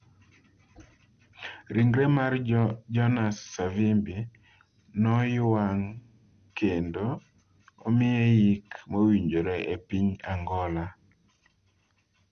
Ringre mar Jonas Savimbi noywang' kendo omiye yik mowinjore e piny Angola